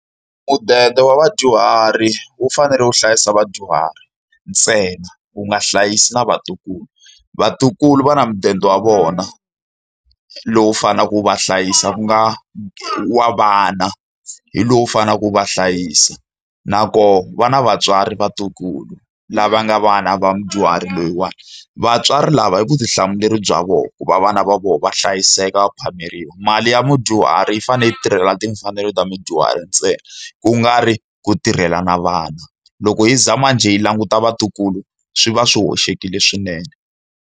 Mudende wa vadyuhari wu fanele wu hlayisa vadyuhari ntsena, wu nga hlayisi na vatukulu. Vatukulu va na mudende wa vona lowu faneleke ku va hlayisa ku nga wa vana, hi lowu faneleke ku va hlayisa. Nakona va na vatswari vatukulu lava nga vana vadyuhari loyiwani, vatswari lava i vutihlamuleri bya vona ku va vana va vona va hlayiseka phameriwa. Mali ya mudyuhari yi fanele yi tirhelela timfanelo ta mudyuhari ntsena, ku nga ri ku tirhela na vana. Loko hi za manjhe yi languta vatukulu, swi va swi hoxekile swinene.